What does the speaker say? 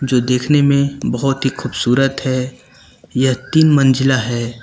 जो देखने में बहुत ही खूबसूरत है यह तीन मंजिला है।